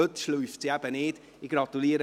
Heute kann sie sich nicht drücken.